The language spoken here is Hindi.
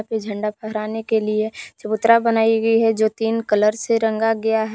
झंडा फहराने के लिए चबूतरा बनाई गई है जो तीन कलर से रंगा गया है।